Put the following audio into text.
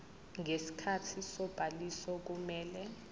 ngesikhathi sobhaliso kumele